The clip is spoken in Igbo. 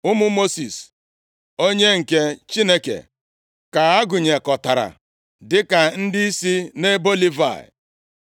Ụmụ Mosis, onye nke Chineke ka a gụnyekọtara dịka ndị si nʼebo Livayị.